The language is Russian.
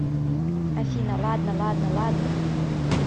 афина ладно ладно ладно